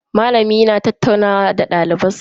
Malami yana tattaunawa da daliban sa.